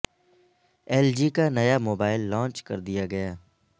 L G کا نیا mobile launch کر دیا گیا